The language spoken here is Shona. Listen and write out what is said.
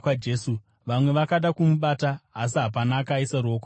Vamwe vakada kumubata, asi hapana akaisa ruoko paari.